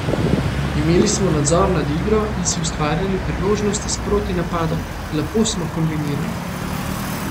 Imeli smo nadzor nad igro in si ustvarjali priložnosti iz protinapadov, lepo smo kombinirali.